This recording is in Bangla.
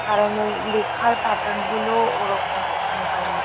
কারণ ওই লেখার প্যাটার্ন -গুলো ওরকম ওখানকার মতো।